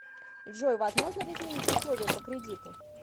джой возможно ли изменить условия по кредиту